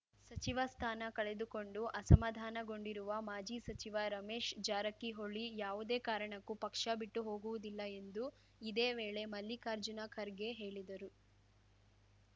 ಸಚಿವ ಸ್ಥಾನ ಕಳೆದುಕೊಂಡು ಅಸಮಾಧಾನಗೊಂಡಿರುವ ಮಾಜಿ ಸಚಿವ ರಮೇಶ್‌ ಜಾರಕಿಹೊಳಿ ಯಾವುದೇ ಕಾರಣಕ್ಕೂ ಪಕ್ಷ ಬಿಟ್ಟು ಹೋಗುವುದಿಲ್ಲ ಎಂದು ಇದೇ ವೇಳೆ ಮಲ್ಲಿಕಾರ್ಜುನ ಖರ್ಗೆ ಹೇಳಿದರು